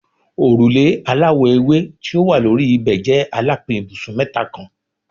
Orule alawọ ewe ti o wa lori ibẹ jẹ alapin ibusun mẹta kan